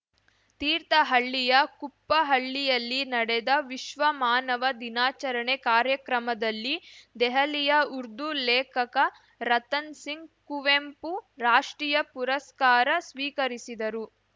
ತೀರ್ಥಹಳ್ಳಿಯ ಕುಪ್ಪಹಳ್ಳಿಯಲ್ಲಿ ನಡೆದ ವಿಶ್ವಮಾನವ ದಿನಾಚರಣೆ ಕಾರ್ಯಕ್ರಮದಲ್ಲಿ ದೆಹಲಿಯ ಉರ್ದು ಲೇಖಕ ರತನ್‌ ಸಿಂಗ್‌ ಕುವೆಂಪು ರಾಷ್ಟ್ರೀಯ ಪುರಸ್ಕಾರ ಸ್ವೀಕರಿಸಿದರು